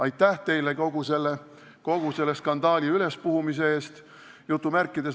Aitäh teile kogu selle skandaali ülespuhumise eest!